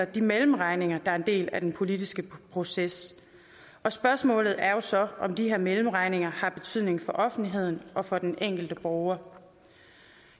de mellemregninger der en del af den politiske proces og spørgsmålet er så om de her mellemregninger har betydning for offentligheden og for den enkelte borger